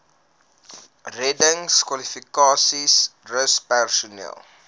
reddingskwalifikasies rus personeel